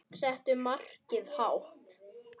Settu markið hátt.